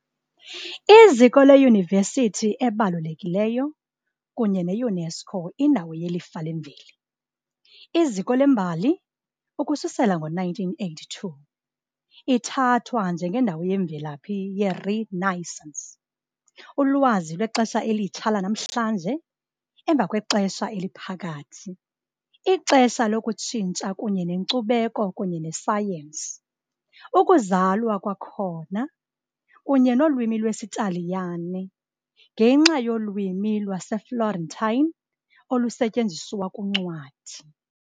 Iziko leyunivesithi ebalulekileyo kunye ne -UNESCO indawo yelifa lemveli, iziko lembali, ukususela ngo-1982, ithathwa njengendawo yemvelaphi ye- Renaissance - ulwazi lwexesha elitsha lanamhlanje emva kweXesha Eliphakathi, ixesha lokutshintsha kunye nenkcubeko kunye nesayensi " ukuzalwa kwakhona" - kunye nolwimi lwesiTaliyane, ngenxa yolwimi lwaseFlorentine olusetyenziswa kuncwadi.